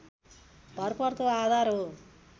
भरपर्दो आधार हो